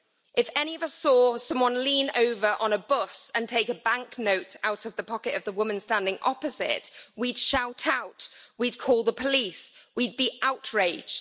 If any of us saw someone lean over on a bus and take a banknote out of the pocket of the woman standing opposite, we'd shout out, we'd call the police, we'd be outraged.